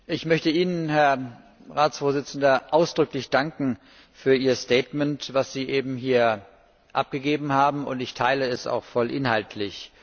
Ich möchte Ihnen, Herr Ratsvorsitzender, ausdrücklich danken für Ihr Statement, das Sie eben hier abgegeben haben. Ich teile es auch voll inhaltlich.